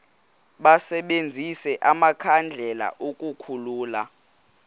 basebenzise amakhandlela ukukhulula